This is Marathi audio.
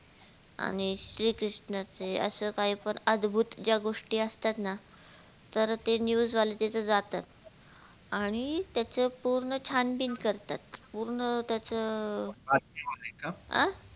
आणि श्री कृष्ण चे असं काही पण अधभूत ज्या गोष्टी असतात ना तर ते news वाले तिथे जातात आणि त्याच पूर्ण छानबीन करतात पूर्ण त्या